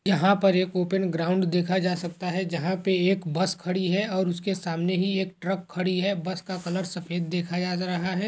यहाँ पर एक ओपन ग्राउंड देखा जा सकता है जहाँ पे एक बस खड़ी है और उसके सामने ही एक ट्रक खड़ी है। बस का कलर सफ़ेद देखा जा रहा है।